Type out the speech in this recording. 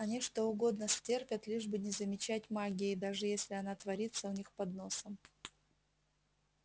они что угодно стерпят лишь бы не замечать магии даже если она творится у них под носом